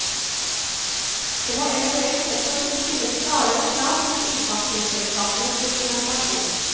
Det må eventuelt også kunne stilles klarere krav til kringkastingsselskapenes dokumentasjon.